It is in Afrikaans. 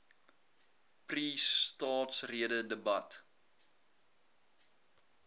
pre staatsrede debat